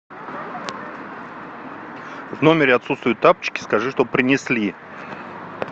в номере отсутствуют тапочки скажи чтобы принесли